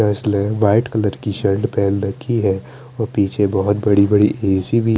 उसने white colour की shirt पहन रखी है और पीछे बोहोत बड़ी बड़ी ए_सी भी --